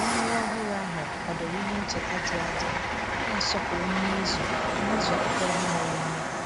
Arụmarụ ọhụrụ ahụ kwadoro ihe ncheta dị adị na-asọpụrụ mmezu mmezu akụkọ ihe mere eme